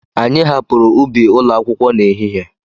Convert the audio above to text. Anyị hapụrụ ubi ụlọ akwụkwọ na ehihie.